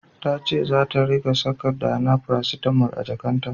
Ta ce zata ringa saka Dana paracetamol a jakarta.